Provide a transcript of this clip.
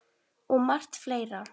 Og margt fleira.